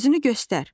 Özünü göstər!